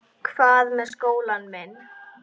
Hvað með skólann minn?